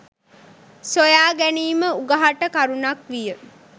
සොයා ගැනීම උගහට කරුණක් විය.